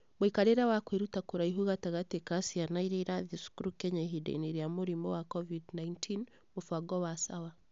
Mũikarĩre wa kwĩruta kũraihu gatagatĩ ka ciana iria irathiĩ cukuru Kenya ihinda-inĩ rĩa Mũrimũ wa Covid-19, mũbango wa Sawa.